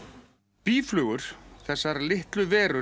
býflugur þessar litlu verur